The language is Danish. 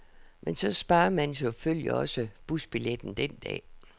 Men så sparer man jo selvfølgelig også busbilletten den dag.